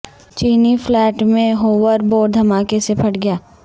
چینی فلیٹ میں hoverboard دھماکے سے پھٹ گیا